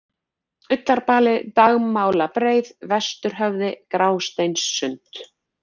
Ullarbali, Dagmálabreið, Vesturhöfði, Grásteinssund